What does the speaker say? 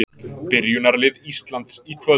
Byrjunarlið Íslands í kvöld